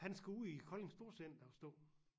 Han skal ud i Kolding storcenter og stå